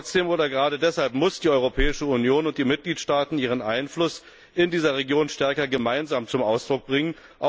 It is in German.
Trotzdem oder gerade deshalb müssen die Europäische Union und die Mitgliedstaaten ihren Einfluss in dieser Region stärker gemeinsam zum Ausdruck bringen.